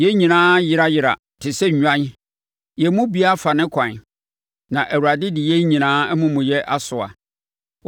Yɛn nyinaa ayera yera te sɛ nnwan, yɛn mu biara afa ne kwan; na Awurade de yɛn nyinaa amumuyɛ asoa.